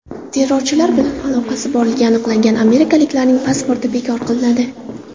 Terrorchilar bilan aloqasi borligi aniqlangan amerikaliklarning pasporti bekor qilinadi.